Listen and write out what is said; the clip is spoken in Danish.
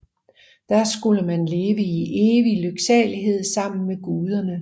Der skulle man leve i evig lyksalighed sammen med guderne